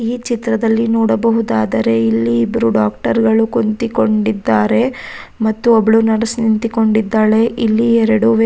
ಎರಡು ಮಹಿಳೆಗಳು ನಿಂತಿದ್ದಾರೆ ಅವರು ಎಲ್ಲರು ಮಾಸ್ಕನ್ನು ಹಾಕಿದ್ದಾರೆ ಮತ್ತೆ ಇಲ್ಲಿ --